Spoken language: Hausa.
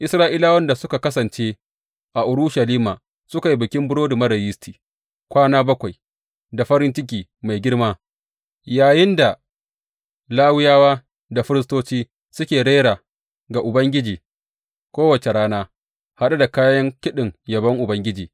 Isra’ilawan da suka kasance a Urushalima suka yi Bikin Burodi Marar Yisti kwana bakwai da farin ciki mai girma, yayinda Lawiyawa da firistoci suke rera ga Ubangiji kowace rana, haɗe da kayan kiɗin yabon Ubangiji.